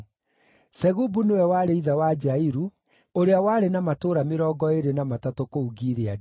Segubu nĩwe warĩ ithe wa Jairu, ũrĩa warĩ na matũũra mĩrongo ĩĩrĩ na matatũ kũu Gileadi.